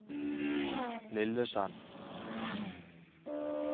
Lillesand